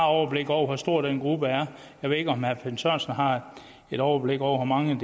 overblik over hvor stor den gruppe er jeg ved ikke om herre finn sørensen har et overblik over hvor mange